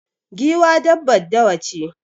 Giwa dabbar dawa ce